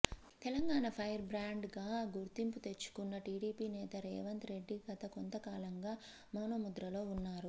Telangana firebrand గా గుర్తింపు తెచ్చుకున్న టిడిపి నేత రేవంత్ రెడ్డి గత కొంతకాలంగా మౌనముద్రలో ఉన్నారు